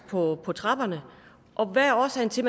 på på trapperne hvad er årsagen til